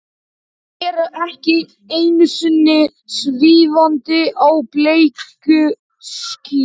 Þau eru ekki einungis svífandi á bleiku skýi.